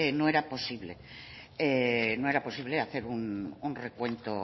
no era posible hacer un recuento